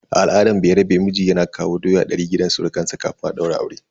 A al'adar bayarabe, miji yana kawo doya ɗari gidan surukansa kafin a daura aure.